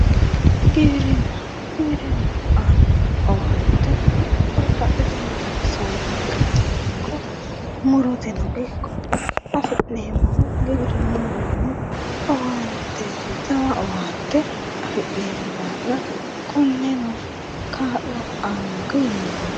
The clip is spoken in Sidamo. Giwirinna, giwirinnahu aano owante babbaxxitinotta saadateno ikko muroteno ikko affi'neemmohu giwirinuwinni jawa owaante afi'neemmo daafira kuneno kaa'lo aaanonke yinne hendeemmo.